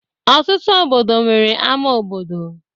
Ọtụtụ obodo nwere ama obodo.